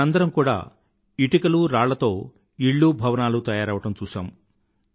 మనందరమూ కూడా ఇటుకలు రాళ్ళతో ఇళ్ళూ భవనాలు తయారవడం చూశాము